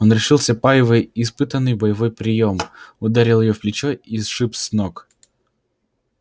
он решился паевой испытанный боевой приём ударил её в плечо и сшиб с ног